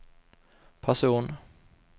person